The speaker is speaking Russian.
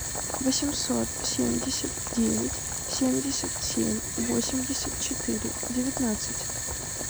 восемьсот семьдесят девять семьдесят семь восемьдесят четыре девятнадцать